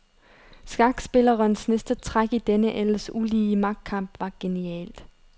Skakspillerens næste træk i denne ellers ulige magtkamp var genialt.